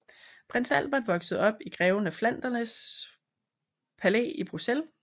Prins Albert voksede op i Greven af Flanderns Palæ i Bruxelles